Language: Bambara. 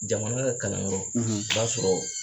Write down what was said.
Jamana ka kalanyɔrɔ, o b'a sɔrɔ